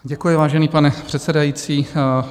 Děkuji, vážený pane předsedající.